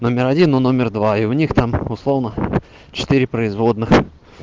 номер один но номер два и у них там условно четыре производных